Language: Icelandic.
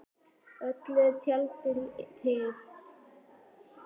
Öllu er tjaldað til.